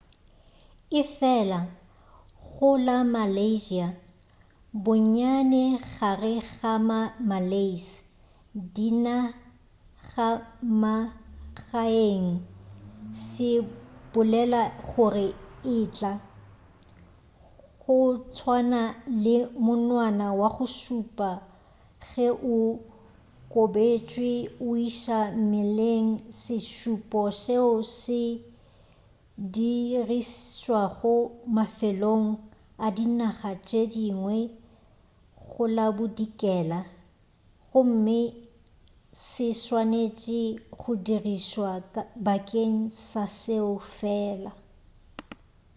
efela go la malaysia bonnyane gare ga ma malays dinagamagaeng se bolela gore etla go tswana le monwana wa go šupa ge o kobetšwe go iša mmeleng se šupo seo se dirišwago mafelong a dinaga tše dingwe go la bodikela gomme se swanetše go dirišwa bakeng sa seo fela